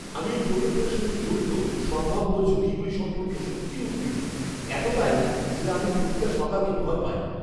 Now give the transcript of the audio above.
আমি এই প্রকল্পের সঙ্গে জড়িত সম্ভাব্য ঝুঁকিগুলি সম্পর্কে সত্যিই উদ্বিগ্ন, এতটাই যে আমি প্রতিটা সকালকে ভয় পাই।